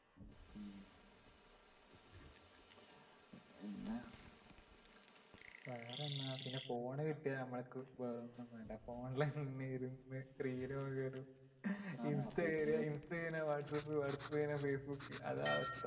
വേറെന്താ പിന്നെ phone കിട്ടിയാ നമ്മൾക്ക് വേറൊന്നും വേണ്ട phone ഇലിരുന്ന് screen നോക്കലും insta കഴിഞ്ഞാ whatsapp whatsapp കഴിഞ്ഞാ facebook അതാ അവസ്‌ഥ